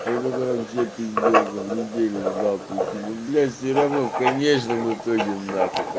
это вообще пиздец неделю ждал прикинь ну блять все равно в конечном итоге нахуй